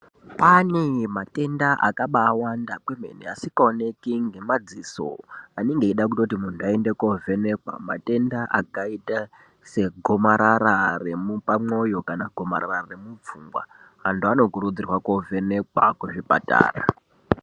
Kwaane matenda akabaawanda kwemene asikaoneki ngemadziso, anenge eida kutoti muntu aende kovhenekwa, matenda akaita segomarara repamupamwoyo kana gomarara remupfungwa. Antu anokurudzirwa kovhenekwa kuzvipatara..